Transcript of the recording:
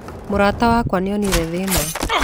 Mũrata wake nĩonire thĩna